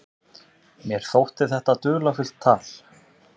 Mér þótti þetta dularfullt tal.